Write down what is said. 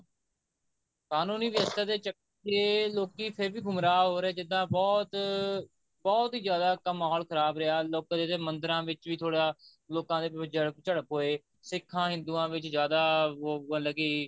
ਕਾਨੂੰਨੀ ਵਿਵਸਥਾ ਦੇ ਕੇ ਲੋਕੀ ਫੇਰ ਵੀ ਗੁਮਰਾਹ ਹੋ ਰਹੇ ਜਿੱਦਾਂ ਬਹੁਤ ਬਹੁਤ ਹੀ ਜਿਆਦਾ ਮਹੋਲ ਖ਼ਰਾਬ ਰਿਹਾ ਲੋਕੀ ਜਿਹੜੇ ਮੰਦਰਾਂ ਵਿੱਚ ਵੀ ਥੋੜਾ ਲੋਕਾ ਦੇ ਵਿੱਚ ਵੀ ਝੜਪ ਹੋਏ ਸਿੱਖਾਂ ਹਿੰਦੁਆਂ ਵਿੱਚ ਜਿਆਦਾ ਮਤਲਬ ਕੀ